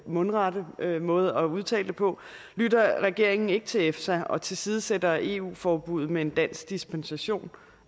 mundrette måde at udtale det på lytter regeringen ikke til efsa og tilsidesætter eu forbuddet med en dansk dispensation